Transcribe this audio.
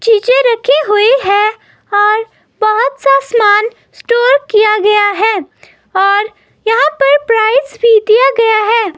चीजें रखी हुई है और बहुत सा सामान स्टोर किया गया है और यहाँ पर प्राइस भी दिया गया है।